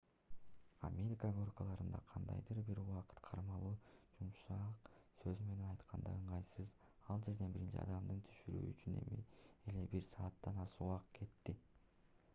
америка горкаларында кандайдыр бир убакыт кармалуу жумшак сөз менен айтканда ыңгайсыз ал жерден биринчи адамды түшүрүү үчүн эле бир сааттан ашык убакыт кетти